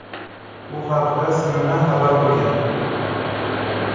Bu haqda CNN xabar qilgan .